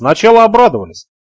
начало обрадовались